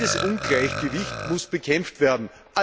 Dieses Ungleichgewicht muss bekämpft werden.